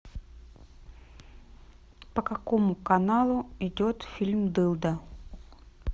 по какому каналу идет фильм дылда